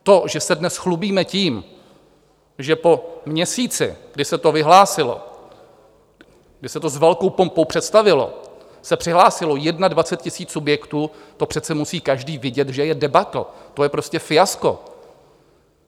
To, že se dnes chlubíme tím, že po měsíci, kdy se to vyhlásilo, kdy se to s velkou pompou představilo, se přihlásilo 21 tisíc subjektů, to přece musí každý vidět, že je debakl, to je prostě fiasko.